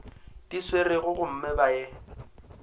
di swerego gomme ba ye